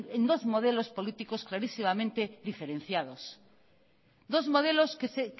en dos modelos políticos clarísimamente diferenciados dos modelos que